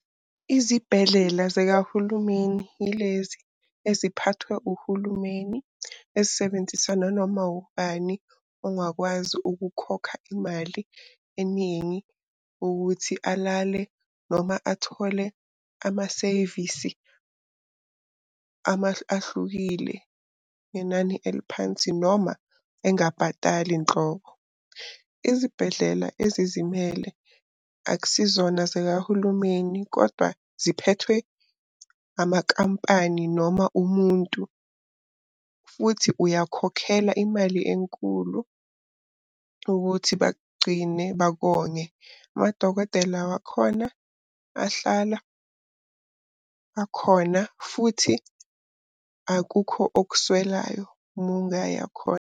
Izibhedlela zikahulumeni yilezi eziphathwe uhulumeni ezisebenzisa nanoma ubani ongakwazi ukukhokha imali eningi ukuthi alale noma athole amaseyvisi ahlukile ngenani eliphansi noma engabhatali nhlobo. Izibhedlela ezizimele akusizona zikahulumeni kodwa ziphethwe amakampani noma umuntu. Futhi uyakhokhela imali enkulu ukuthi bakugcine bakonge. Amadokotela wakhona, ahlala akhona futhi akukho okuswelayo uma ungaya khona.